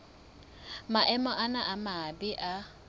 maemo ana a mabe a